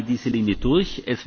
Ich halte diese Linie durch.